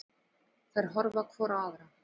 Þær horfa hvor á aðra.